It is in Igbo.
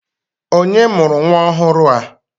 Onye mụrụ nwa ọhụrụ a?